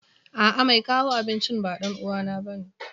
A'a, mai kawo abincin ba ɗan uwana bane.